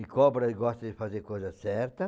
E cobra gosta de fazer coisa certa.